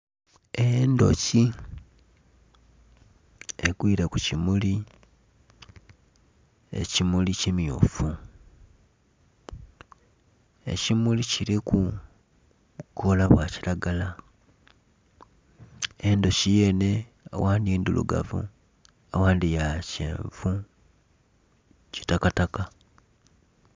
Endhuki egwire ku kimuli, ekimuli kimyufu, ekimuli kiliku obukoola bwa kilagala endhuki yenhe agandhi ndhirugavu agandhi ya kyenvu kitakataka.